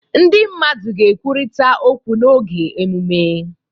Ndị mmadụ ga-ekwurịta okwu n'oge emume.